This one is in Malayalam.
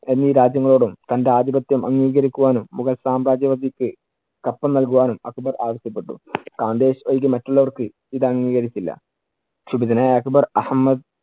എന്നീ രാജ്യങ്ങളോടും തന്‍റെ ആധിപത്യം അംഗീകരിക്കുവാനും മുഗൾ സാമ്രാജ്യവദിക്ക് കപ്പം നൽകുവാനും അക്ബർ ആവശ്യപ്പെട്ടു. ഘാന്ദേഷ് ഒഴികെ മറ്റുള്ളവര്‍ക്ക് ഇത് അംഗീകരിച്ചില്ല. ക്ഷുഭിതനായ അക്ബർ അഹമ്മദ്